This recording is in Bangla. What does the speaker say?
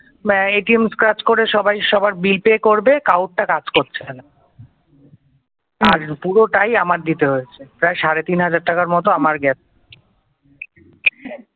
মানে কাজ করে সবাই সবার bill pay করবে কারোরটা কাজ করছে না আর পুরোটাই আমার দিতে হয়েছে প্রায় সাড়ে তিন হাজার টাকার মতো আমার গেছে।